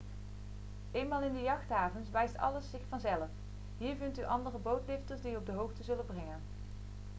eenmaal in de jachthavens wijst alles zich vanzelf hier vindt u andere bootlifters die u op de hoogte zullen brengen